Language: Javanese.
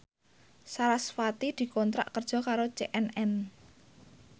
sarasvati dikontrak kerja karo CNN